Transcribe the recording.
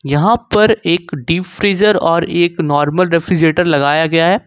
यहां पर एक डीप फ्रीजर और एक नॉर्मल रेफ्रिजरेटर लगाया गया है।